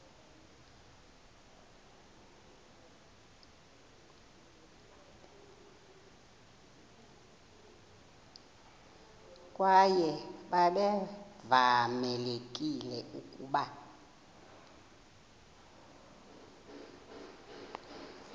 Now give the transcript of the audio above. kwaye babevamelekile ukuba